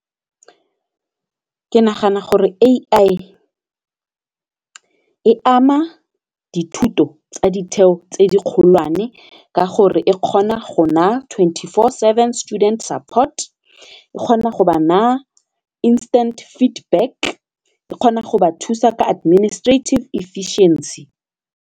Ke nagana gore AI e ama dithuto tsa ditheo tse di kgolwane ka gore e kgona go na twenty four seven student support, e kgona go ba na instant feedback, e kgona go ba thusa ka adminstrative efficiency.